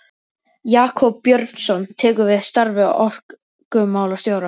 Jakob Björnsson tekur við starfi orkumálastjóra.